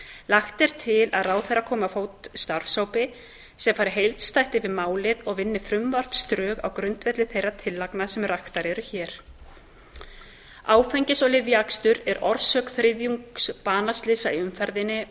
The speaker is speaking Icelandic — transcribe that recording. lagt er til að ráðherra komi á fót starfshópi sem fari heildstætt yfir málið og vinni frumvarpsdrög á grundvelli þeirra tillagna sem raktar eru hér áfengis og lyfjaakstur er orsök þriðjungs banaslysa í umferðinni